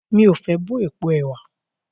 Mí o fé bọ́ èpo ẹ̀wà.